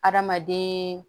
Adamaden